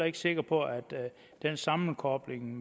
ikke sikker på at sammenkoblingen